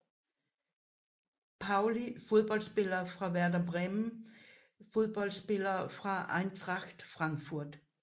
Pauli Fodboldspillere fra Werder Bremen Fodboldspillere fra Eintracht Frankfurt